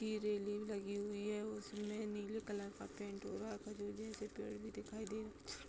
ये रेलिंग लगी हुई है। उसमें नीले कलर का पेंट हो रहा। खजूर जैसे पेड़ भी दिखाई रहे। --